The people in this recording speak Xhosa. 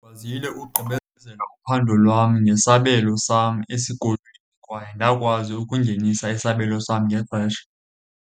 Ndikwazile ugqibezela uphando lwam nesabelo sam esikolweni kwaye ndakwazi ukungenisa isabelo sam ngexesha.